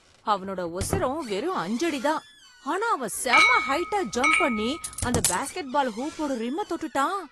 அவனோட உசரம் வெறும் அஞ்சடிதான். ஆனா அவன் செம ஹயிட்டா ஜம்ப் பண்ணி அந்த பாஸ்கெட்பால் ஹூப்போட ரிம்மை தொட்டுட்டான்.